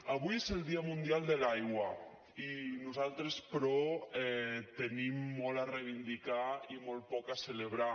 avui és el dia mundial de l’aigua i nosaltres però tenim molt a reivindicar i molt poc a celebrar